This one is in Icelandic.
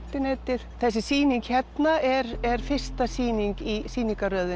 netið þessi sýning hérna er er fyrsta sýningin í sýningarröðinni